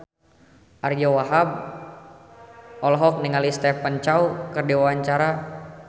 Ariyo Wahab olohok ningali Stephen Chow keur diwawancara